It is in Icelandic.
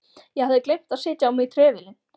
Ég hafði gleymt að setja á mig trefilinn.